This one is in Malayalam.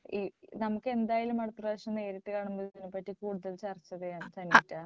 മ് നമുക്ക് എന്തായാലും അടുത്ത പ്രാവശ്യം നേരിട്ട് കാണുമ്പോ ഇതിനെപ്പറ്റി കൂടുതൽ ചർച്ച ചെയ്യണം സനീറ്റ.